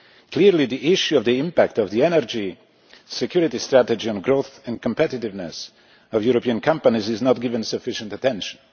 Clearly, the issue of the impact of the Energy Security Strategy on the growth and competitiveness of European companies is not given sufficient attention.